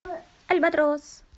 альбатрос